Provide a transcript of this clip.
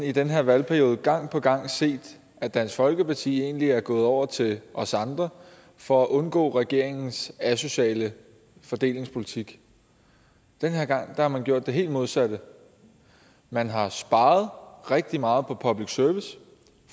i den her valgperiode gang på gang set at dansk folkeparti egentlig er gået over til os andre for at undgå regeringens asociale fordelingspolitik den her gang har man gjort det helt modsatte man har sparet rigtig meget på public service